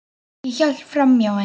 Ég hélt framhjá henni.